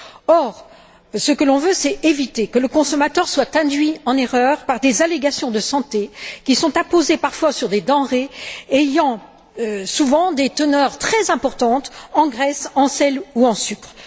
Or, ce que l'on veut, c'est éviter que le consommateur soit induit en erreur par des allégations de santé qui sont apposées parfois sur des denrées ayant, souvent, des teneurs très importantes en graisse, en sel ou en sucre.